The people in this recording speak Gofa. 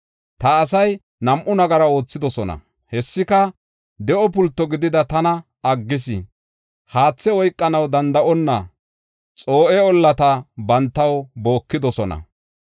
Ta asay nam7u nagara oothidosona; hessika, de7o pulto gidida tana aggis. Haathe oykanaw danda7onna, xoo7e ollata bantaw bookidosona.